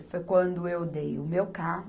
Foi quando eu dei o meu carro